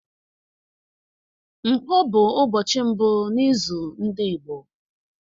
Nkwo bụ ụbọchị mbụ na izu ndị Igbo.